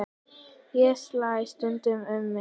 Ég slæ stundum um mig.